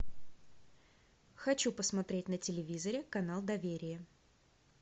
хочу посмотреть на телевизоре канал доверие